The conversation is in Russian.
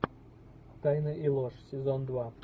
тайны и ложь сезон два